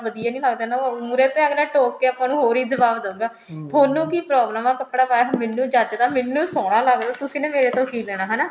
ਵਧੀਆ ਨੀ ਲੱਗਦਾ ਨਾ ਉਹ ਮੁਹਰੇ ਤੋਂ ਅੱਗਲਾ ਟੋਕ ਕੇ ਆਪਾਂ ਨੂੰ ਹੋਰ ਹੀ ਜਵਾਬ ਦਉਗਾ ਤੁਹਾਨੂੰ ਕਿ problem ਹੈ ਕੱਪੜਾ ਪਾਇਆ ਹੋਇਆ ਮੈਨੂੰ ਜਚਦਾ ਮੈਨੂੰ ਸੋਹਨਾ ਲੱਗਦਾ ਤੁਸੀਂ ਨੇ ਮੇਰੇ ਤੋ ਕਿ ਲੈਣਾ ਹਨਾ